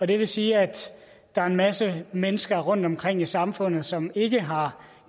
det vil sige at der er en masse mennesker rundtomkring i samfundet som ikke har